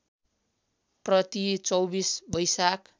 प्रति २४ वैशाख